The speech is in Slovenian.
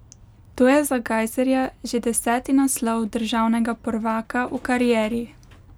To je za Gajserja že deseti naslov državnega prvaka v karieri.